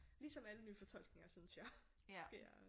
Ligesom alle nyfortolkninger synes jeg sker